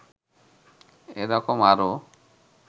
এ রকম আরও